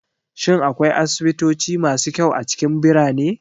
Shin akwai asibitoci masu kyau a cikin birane?